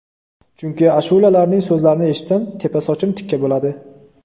Chunki ashulalarining so‘zlarini eshitsam, tepa sochim tikka bo‘ladi.